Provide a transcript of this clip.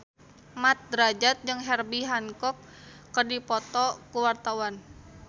Mat Drajat jeung Herbie Hancock keur dipoto ku wartawan